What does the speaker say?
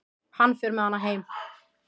Hann fer með hana heim.